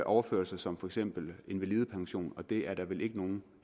overførsler som for eksempel invalidepension det er der vel ikke nogen